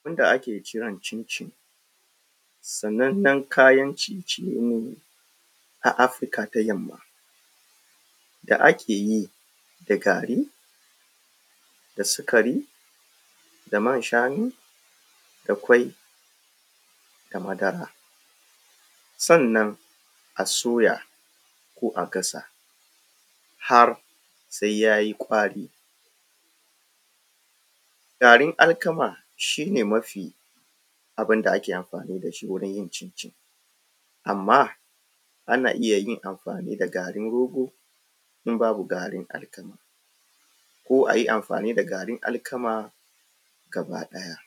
Abun da ake kira da cincin sanannan kayan ciye ciye ne a Afirika ta yamma da ake yi da gari, da sikari, da man shanu, da ƙwai, da madara, sannan a soya ko a gasa har sai yayi ƙwari. Garin alkama shi ne mafi abun da ake amfani da shi wajan yin cin cin. Amma ana iya yin amfani da garin rogo in babu garin alkama, ko ayi amfani da garin alkama gaba ɗaya.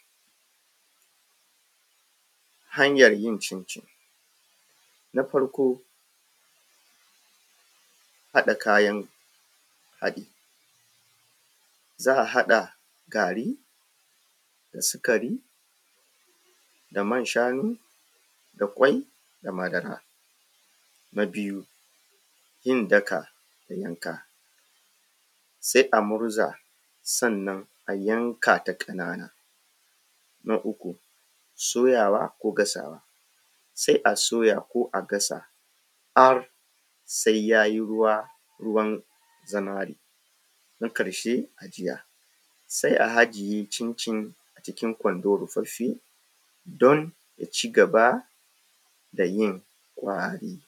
Hanyar yin cincin. Na farko haɗa kayan haɗi. Za a haɗa garin da sikari, da man shanu, da ƙwai da madara. Na biyu yin daka da yanka, sai a murza sannan a yanka ta ƙanana. Na uku soyawa ko gasawa. sai a soya ko a gasa har sai har sai yayi ruwa ruwa zinari. Na ƙarshe ajiya. Sai a ajiye cincin a cikin gwando rufaffe don ya cigaba da yin ƙwari.